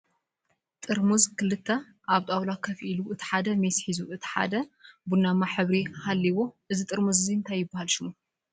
ጥርሙዝ ክልተ ኣብ ጣውላ ኮፍ ኢሉ እቲ ሓደ ሜስ ሒዙ እት ሓደ ቡናማ ሕብሪ ሃሊእዎ እዚ ጥርሙዝ እዚ እንታይ ይበሃል ሽሙ ?